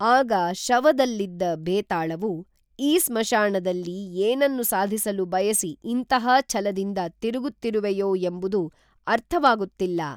ಆಗ ಶವದಲ್ಲಿದ್ದ ಭೇತಾಳವು ಈ ಸ್ಮಶಾನದಲ್ಲಿ ಏನನ್ನು ಸಾಧಿಸಲು ಬಯಸಿ ಇಂತಹ ಛಲದಿಂದ ತಿರುಗುತ್ತಿರುವೆಯೋ ಎಂಬುದು ಅರ್ಥವಾಗುತ್ತಿಲ್ಲ